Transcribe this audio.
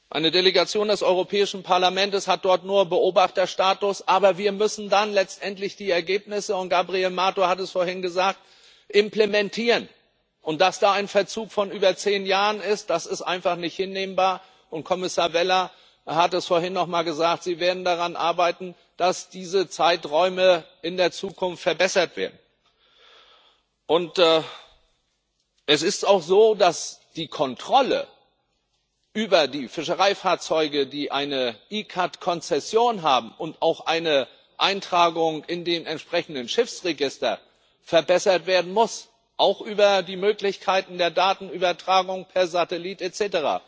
Eine Delegation des Europäischen Parlaments hat dort nur Beobachterstatus, aber wir müssen dann letztendlich die Ergebnisse Gabriel Mato hat es vorhin gesagt implementieren. Dass da ein Verzug von über zehn Jahren ist, ist einfach nicht hinnehmbar. Kommissar Vella hat es vorhin noch mal gesagt Sie werden daran arbeiten, dass diese Zeiträume in der Zukunft verbessert werden. Es ist auch so, dass die Kontrolle über die Fischereifahrzeuge, die eine ICCAT Konzession und auch eine Eintragung in den entsprechenden Schiffsregistern haben, verbessert werden muss, auch über die Möglichkeiten der Datenübertragung per Satellit etc.